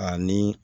Ani